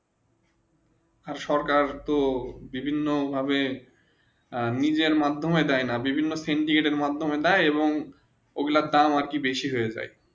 সরকার তো বিভিন্ন ভাবে নিজের মাধমিয়ে দায়ে বিভিন্ন দেন কয়টি মাধমিয়ে দায়ে এবং ওগুলোর দাম আর একটু বেশি হয়ে যায়